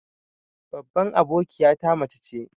Babban abokiyata mace ce.